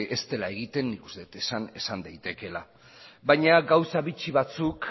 ez dela egiten nik uste dut esan daitekeela baina gauza bitxi batzuk